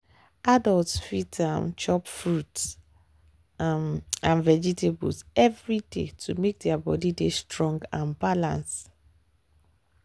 adults fit dey um chop fruit um and vegetables every day to make their body dey strong and balance.